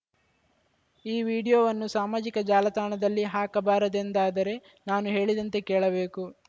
ಈ ವಿಡಿಯೋವನ್ನು ಸಾಮಾಜಿಕ ಜಾಲತಾಣದಲ್ಲಿ ಹಾಕಬಾರದೆಂದಾದರೆ ನಾನು ಹೇಳಿದಂತೆ ಕೇಳಬೇಕು